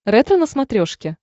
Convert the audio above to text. ретро на смотрешке